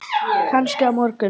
Kannski á morgun.